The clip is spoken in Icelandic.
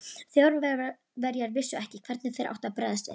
Þjóðverjar vissu ekki, hvernig þeir áttu að bregðast við.